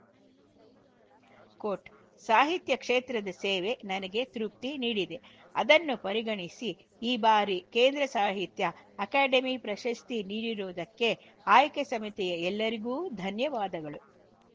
coat ಸಾಹಿತ್ಯ ಕ್ಷೇತ್ರದ ಸೇವೆ ನನಗೆ ತೃಪ್ತಿ ನೀಡಿದೆ ಅದನ್ನು ಪರಿಗಣಿಸಿ ಈ ಬಾರಿ ಕೇಂದ್ರ ಸಾಹಿತ್ಯ ಅಕಾಡೆಮಿ ಪ್ರಶಸ್ತಿ ನೀಡಿರುವುದಕ್ಕೆ ಆಯ್ಕೆ ಸಮಿತಿಯ ಎಲ್ಲರಿಗೂ ಧನ್ಯವಾದಗಳು